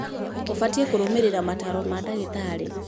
Ũbatiĩ kũrũmĩrĩra mataro ma ndagitarĩ.